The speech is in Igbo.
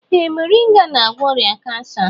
Ee moringa na-agwọ ọrịa kansa.